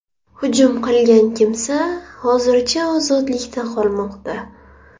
Hujum qilgan kimsa hozircha ozodlikda qolmoqda.